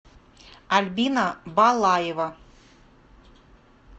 альбина балаева